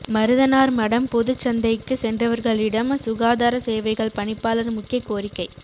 மருதனார்மடம் பொதுச் சந்தைக்கு சென்றவர்களிடம் சுகாதார சேவைகள் பணிப்பாளர் முக்கிய கோரிக்கை